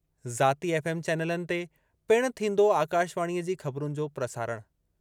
ज़ाती एफ़एम चैनलनि ते पिणु थींदो आकाशवाणीअ जी ख़बरूनि जो प्रसारणु...